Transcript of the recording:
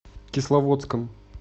кисловодском